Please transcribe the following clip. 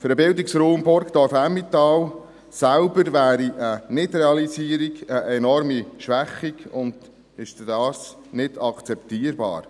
Für den Bildungsraum Burgdorf-Emmental selber, wäre ein Nichtrealisierung eine enorme Schwächung und ist dadurch nicht akzeptabel.